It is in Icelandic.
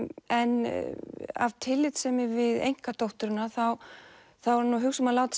en af tillitssemi við einkadótturina er hann að hugsa um að láta